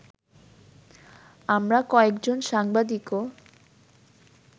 আমরা কয়েকজন সাংবাদিকও